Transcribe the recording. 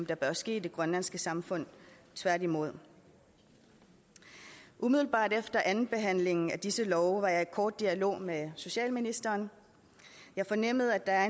der bør ske i det grønlandske samfund tværtimod umiddelbart efter andenbehandlingen af disse love var jeg i kort dialog med socialministeren jeg fornemmede at